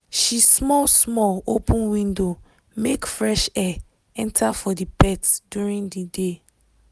she small small open window make fresh air enter for the pet during the day